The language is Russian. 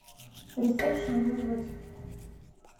ресепшн вызвать